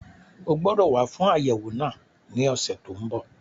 O gbọdọ̀ wá fún àyẹ̀wò náà ní ọ̀sẹ̀ tó n bọ̀